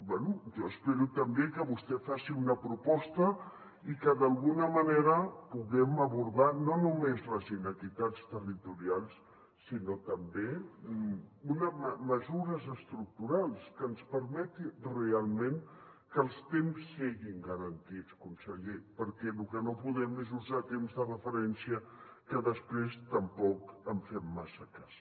bé jo espero també que vostè faci una proposta i que d’alguna manera puguem abordar no només les inequitats territorials sinó també mesures estructurals que ens permetin realment que els temps siguin garantits conseller perquè el que no podem és usar temps de referència que després tampoc en fem massa cas